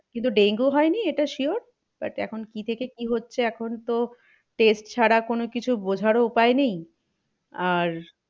কিন্তু ডেঙ্গু হয়নি এটা sure but কি থেকে কি হচ্ছে এখন তো test ছাড়া কোনো কিছু বোঝারও উপায় নেই। আর,